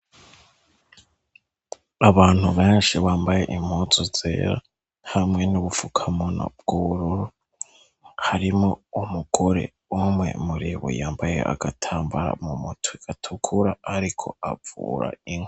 Abantu benshi bambaye impuzu zera hamwe n'ubufukamunwa bw'ubururu, harimwo umugore umwe muri bo yambaye agatambara mu mutwe gatukura ariko avura inka.